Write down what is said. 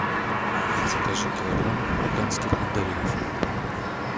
закажи килограмм марокканских мандаринов